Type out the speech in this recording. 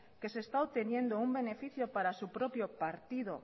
que se está obteniendo un beneficio para su propio partido